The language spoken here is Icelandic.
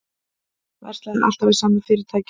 Verslaði alltaf við sama fyrirtækið